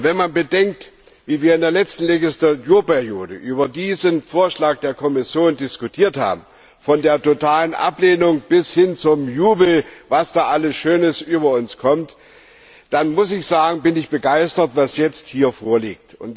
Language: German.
Wenn man bedenkt, wie wir in der letzten Legislaturperiode über diesen Vorschlag der Kommission diskutiert haben, von der totalen Ablehnung bis hin zum Jubel, was da alles Schönes über uns kam, dann muss ich sagen, bin ich begeistert, was jetzt hier vorliegt.